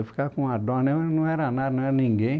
Eu ficava com dó, não era nada, não era ninguém.